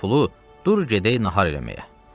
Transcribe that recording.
Al pulu, dur gedək nahar eləməyə.